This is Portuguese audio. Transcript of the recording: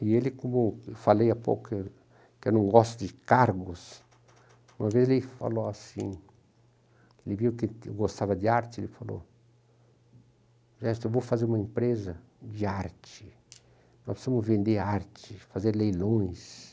E ele, como eu falei há pouco, que eu não gosto de cargos, uma vez ele falou assim, ele viu que que eu gostava de arte, ele falou, ''Enersto, eu vou fazer uma empresa de arte, nós vamos vender arte, fazer leilões''.